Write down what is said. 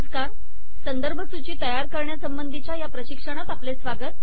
नमस्कार संदर्भ सूची तयार करण्यासंबंधीच्या या प्रशिक्षणात आपले स्वागत